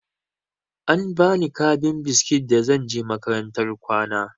An bani kabin biskit da zan je makarantar kwana.